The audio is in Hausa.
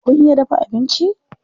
Kun iya dafa abinci?